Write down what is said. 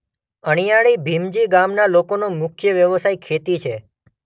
અણીયાળી ભીમજી ગામના લોકોનો મુખ્ય વ્યવસાય ખેતી છે.